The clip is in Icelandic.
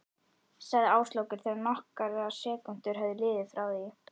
sagði Áslákur þegar nokkrar sekúndur höfðu liðið frá því